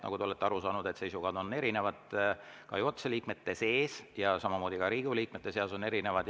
Nagu te olete aru saanud, on seisukohad juhatuse liikmete seas erinevad ja samamoodi ka Riigikogu liikmete seas on need erinevad.